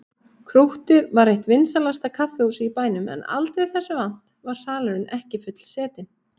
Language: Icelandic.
Krúttið var eitt vinsælasta kaffihúsið í bænum en aldrei þessu vant var salurinn ekki fullsetinn.